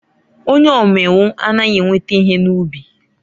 Onye umengwu anaghị enweta ihe n'ubi.